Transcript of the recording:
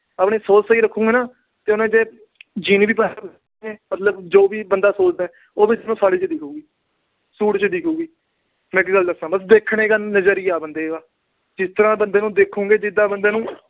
ਆਪਣੀ ਸੋਚ ਸਹੀ ਰੱਖੋਗੇ ਨਾ, ਜੇ ਹੁਣ ਇੱਥੇ jean ਵੀ ਪਾ ਆਉ, ਮਤਲਬ ਜੋ ਵੀ ਬੰਦਾ ਸੋਚਦਾ, ਉਹ ਵੀ ਉਸਨੂੰ ਸਾੜੀ ਚ ਦਿਖੂਗੀ, ਸੂਟ ਚ ਦਿਖੂਗੀ। ਬੱਸ ਦੇਖਣ ਦਾ ਨਜਰੀਆ ਆ ਬੰਦੇ ਦਾ। ਜਿਸ ਤਰ੍ਹਾਂ ਬੰਦੇ ਨੂੰ ਦੇਖੋਗੇ, ਜਿਦਾਂ ਬੰਦੇ ਨੂੰ